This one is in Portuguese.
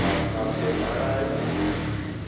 Mas final de semana eu vou.